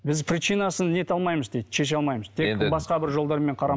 біз причинасын не ете алмаймыз дейді шеше алмаймыз басқа бір жолдармен